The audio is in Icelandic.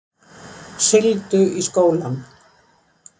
Sigldu í skólann